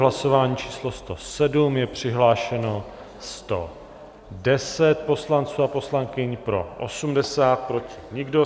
Hlasování číslo 107, je přihlášeno 110 poslanců a poslankyň, pro 80, proti nikdo.